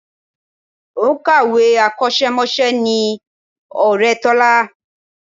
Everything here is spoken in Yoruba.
Òǹkàwé akọ́ṣẹ́mọṣẹ́ ni ọ̀rẹ́ Tọ́lá